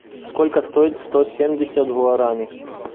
сколько стоит сто семьдесят гуарани